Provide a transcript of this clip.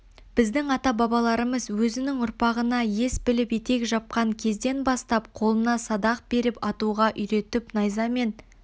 біздің ата-бабаларымыз өзінің ұрпағына ес біліп етек жапқан кезден бастап қолына садақ беріп атуға үйретіп найза мен